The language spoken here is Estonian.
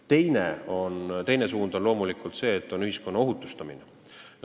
Teine eesmärk on loomulikult ühiskonna ohutustamine.